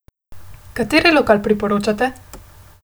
Kateri lokal priporočate?